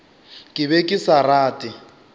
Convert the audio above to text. ke be ke sa rate